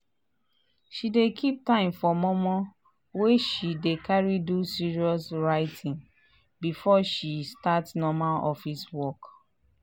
she dey keep time for mor mor wey she dey carry do serious writing before she start normal office work.